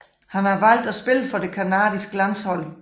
Han har valgt at spille for det canadiske landshold